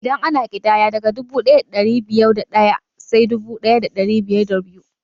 Idan ana ƙidaya, daga dubu ɗaya da ɗari biyar da ɗaya sai dubu ɗaya da ɗari biyar da biyu